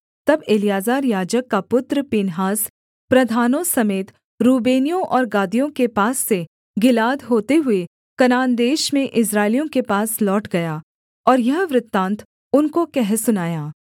तब एलीआजर याजक का पुत्र पीनहास प्रधानों समेत रूबेनियों और गादियों के पास से गिलाद होते हुए कनान देश में इस्राएलियों के पास लौट गया और यह वृत्तान्त उनको कह सुनाया